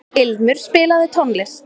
Ilmur, spilaðu tónlist.